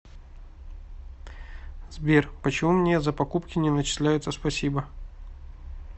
сбер почему мне за покупки не начисляются спасибо